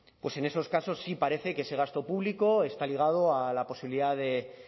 pues en esos casos sí parece que ese gasto público está ligado a la posibilidad de